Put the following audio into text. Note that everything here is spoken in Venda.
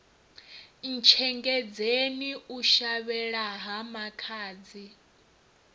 ntshengedzeni u shavhela ha makhadzi